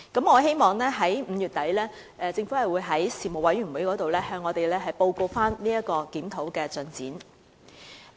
我希望政府在5月底的相關事務委員會會議上可以向我們報告檢討的進展。